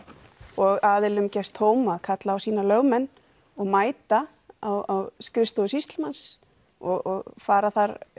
og aðilum gefst tóm til að kalla á sína lögmenn og mæta á skrifstofur sýslumanns og fara